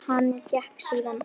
Hann gekk síðan að